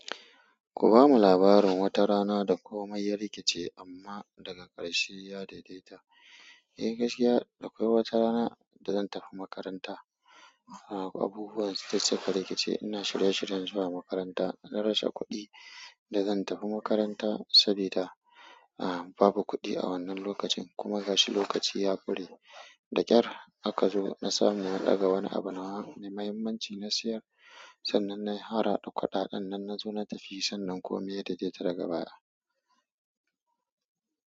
Ku ba mu labarin wata rana da komai ya rikice amma daga ƙarshe ya daidaita. Eh gaskiya, akwai wata rana da zan tafi makaranta. Abubuwa su ka rikice, ina shirye-shiryen zuwa makaranta. Na rasha kuɗin da zan tafi makaranta sabida babu kuɗi a wannan lokacin kuma gashi lokaci ya kure. Da ƙyar aka zo na samu na daga wani abu nawa mai mahimmanci na sayar sannan na yi harhada kudaɗan nan na zo na tafi sannan komai ya daidaita daga baya.